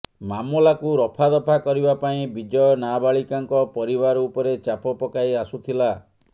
ମାମଲାକୁ ରଫାଦଫା କରିବା ପାଇଁ ବିଜୟ ନାବାଳିକାଙ୍କ ପରିବାର ଉପରେ ଚାପ ପକାଇ ଆସୁଥିଲା